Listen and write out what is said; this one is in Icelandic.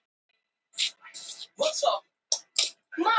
Linda: Þannig að hér flökkum við fram og til baka í tíma?